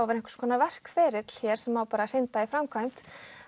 vera einhvers konar verkferill hér sem á bara að hrinda í framkvæmd